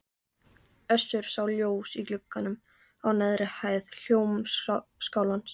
Össur sá ljós í glugganum á neðri hæð Hljómskálans.